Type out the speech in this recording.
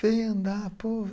Vem andar